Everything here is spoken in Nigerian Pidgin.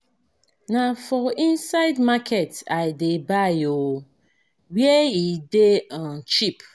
Na for inside market I dey buy um where e dey um cheap.